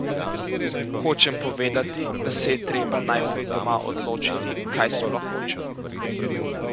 Hočem povedati, da se je treba najprej doma odločiti, kaj sploh hočemo?